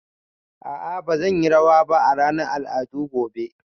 A'a ba zan yi rawa ba a ranar al'adu gobe